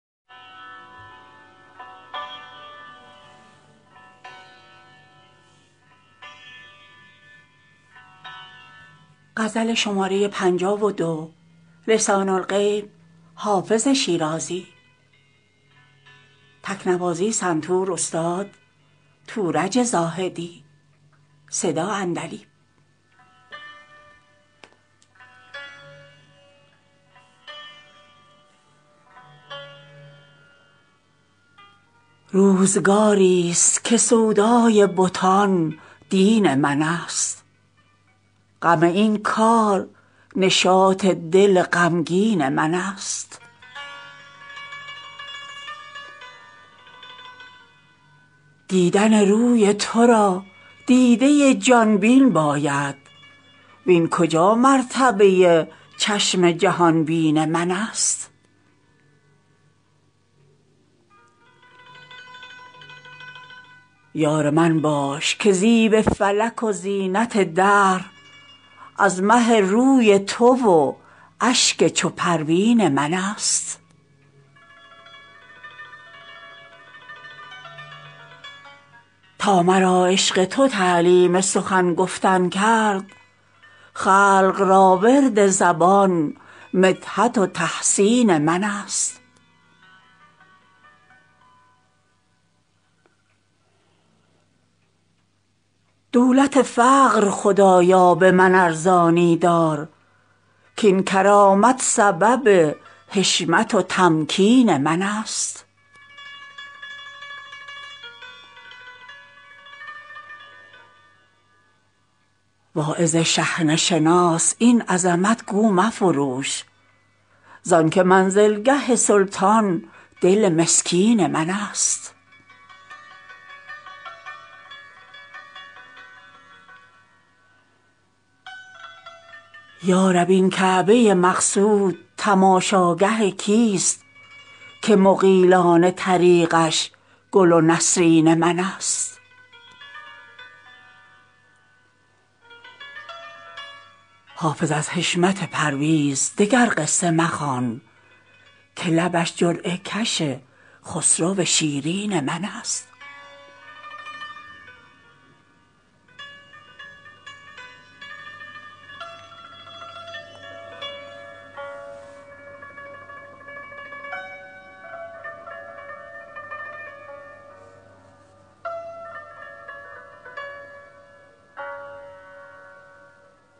روزگاری ست که سودای بتان دین من است غم این کار نشاط دل غمگین من است دیدن روی تو را دیده ی جان بین باید وین کجا مرتبه ی چشم جهان بین من است یار من باش که زیب فلک و زینت دهر از مه روی تو و اشک چو پروین من است تا مرا عشق تو تعلیم سخن گفتن کرد خلق را ورد زبان مدحت و تحسین من است دولت فقر خدایا به من ارزانی دار کاین کرامت سبب حشمت و تمکین من است واعظ شحنه شناس این عظمت گو مفروش زان که منزلگه سلطان دل مسکین من است یا رب این کعبه ی مقصود تماشاگه کیست که مغیلان طریقش گل و نسرین من است حافظ از حشمت پرویز دگر قصه مخوان که لبش جرعه کش خسرو شیرین من است